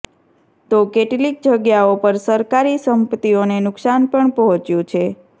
તો કેટલીક જગ્યાઓ પર સરકારી સંપત્તીઓને નુકસાન પણ પહોંચ્યું છે